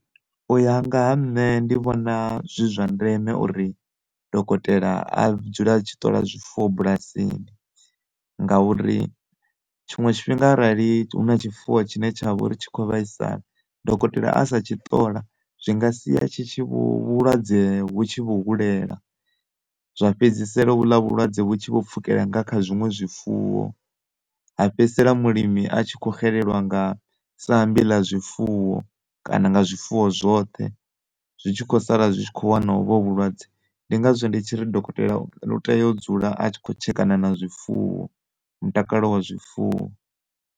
Uya nga ha nṋe ndi vhona zwi zwa ndeme uri dokotela a dzule a tshi ṱola zwifuwo bulasini nga uri tshiṅwe tshifhinga arali huna tshifuwo tshine tshavha uri tshi kho vhaisala dokotela asa tshi ṱola zwi nga sia tshi tshi vho vhulwadze vhu tshi vho hulela zwa fhedzisela ho vhuḽa vhulwadze vhu tshi vho pfukela nga kha zwiṅwe zwifuwo ha fhedzisela mulimi a tshi kho xelelwa nga sambi ḽa zwifuwo kana nga zwifuwo zwoṱhe, zwi tshi kho sala zwi tshi kho wana ho vhu vhulwadze. Ndi ngazwo ndi tshiri dokotela u tea u dzula a tshi kho tshekana na zwifuwo, mutakalo wa zwifuwo.